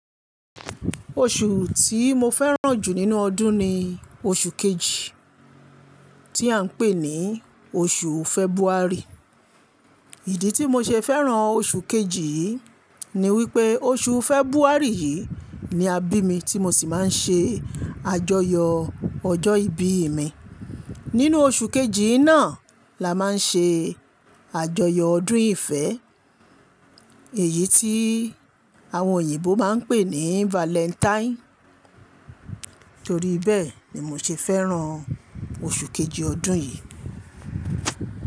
Oṣù tí mo fẹ́ràn jù nínú ọdún ni oṣù kejì tí à ń pè ní oṣù February. Ìdí tí mo ṣe fẹ́ràn oṣù kejì yìí ni wípé oṣù February yìí ni a bí mi tí mo sì máa ń ṣe àjọyọ̀ ọjọ́ ìbí mi. Nínú oṣù kejì náà la máa ń ṣe àjọyọ̀ ọdún ìfẹ́ èyí tí àwọn òyìnbó máa ń pè ní Valentine. Nítorí bẹ́ẹ̀ ni mo ṣe fẹ́ràn oṣù kejì ọdún yìí.